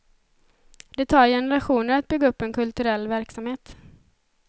Det tar generationer att bygga upp en kulturell verksamhet.